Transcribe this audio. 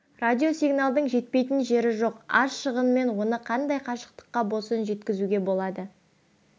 радиосигналдың жетпейтін жері жоқ аз шығынмен оны қандай қашықтыққа болсын жеткізуге болады